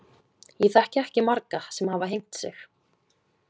Ég þekki ekki marga sem hafa hengt sig.